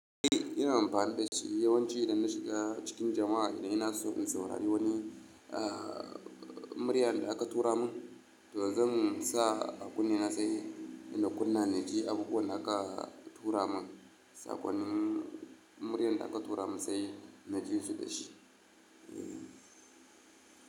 Eh ina amfani da shi yawanci idan na shiga cikin jama'a ina so in saurari wani, muryar da aka tura mun to zan sa akunne na sai in kunna na ji abubuwan da aka tura mun. Sakonnin muryar da aka tura mun sai na ji su da shi. Eh.